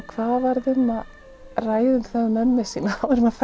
hvað varð um að ræða við mömmu sína áður en maður